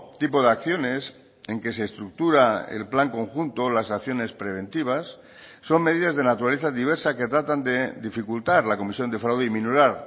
tipo de acciones en que se estructura el plan conjunto las acciones preventivas son medidas de naturaleza diversa que tratan de dificultar la comisión de fraude y minorar